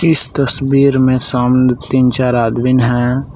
तस्वीर में सामने तीन चार आदमीन हैं।